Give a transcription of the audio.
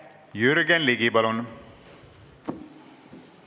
Jürgen Ligi, palun!